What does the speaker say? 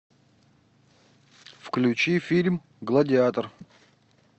включи фильм гладиатор